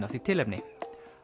af því tilefni